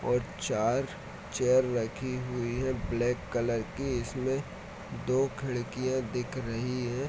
और चार चेयर रखी हुई है ब्लैक कलर की इसमें दो खिड़कियाँ दिख रही है ।